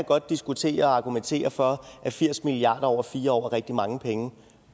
godt diskutere og argumentere for at firs milliard kroner over fire år er rigtig mange penge